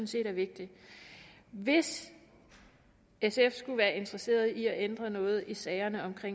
set er vigtigt hvis sf skulle være interesseret i at ændre noget i sagerne om